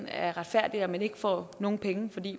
er retfærdigt at man ikke får nogen penge fordi